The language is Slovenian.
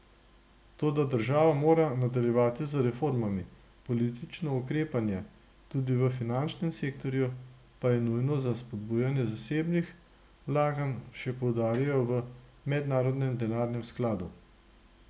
Toda država mora nadaljevati z reformami, politično ukrepanje, tudi v finančnem sektorju, pa je nujno za spodbujanje zasebnih vlaganj, še poudarjajo v Mednarodnem denarnem skladu.